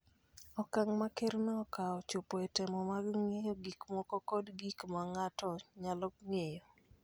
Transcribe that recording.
Okang� ma Kerno okawo chopo e temo mag ng�iyo gik moko kod gik ma ng�ato nyalo ng�eyo